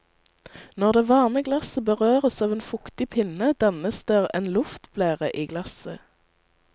Når det varme glasset berøres av en fuktig pinne, dannes der en luftblære i glasset.